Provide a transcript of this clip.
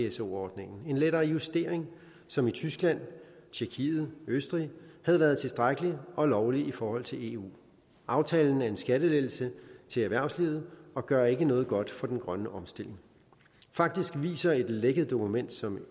pso ordningen en lettere justering som i tyskland tjekkiet østrig havde været tilstrækkelig og lovlig i forhold til eu aftalen er en skattelettelse til erhvervslivet og gør ikke noget godt for den grønne omstilling faktisk viser et lækket dokument som